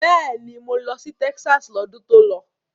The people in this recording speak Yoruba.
Bẹ́ẹ̀ni, mo lọ sí Texas lọ́dún tó lọ.